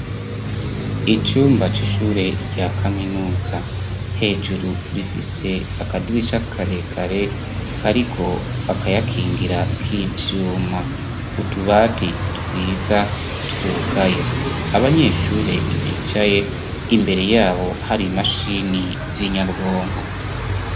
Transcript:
Icumba c'ishure rya kaminuza. Hejuru rifise akadirisha karekare kariko akayakingira k'ivyuma. Utubati twiza twugaye. Abanyeshure bicaye, imbere yabo hari imashini z'inyabwonko.